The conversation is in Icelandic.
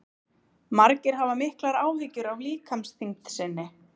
margir hafa miklar áhyggjur af líkamsþyngd sinni